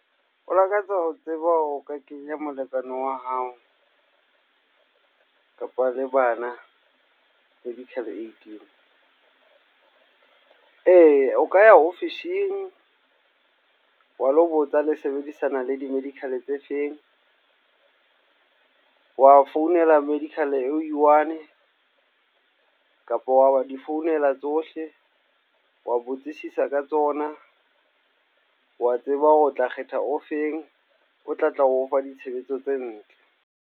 O lakatsa ho tseba o ka kenya molekane wa hao, kapa le bana medical aid-ing. Eya o ka ya office-ng wa lo botsa le sebedisana le di-medical tse feng. Wa founela medical o one, kapa wa wa o di founela tsohle. Wa botsisisa ka tsona. Wa tseba hore o tla kgetha o feng, o tla tla o ofa ditshebetso tse ntle.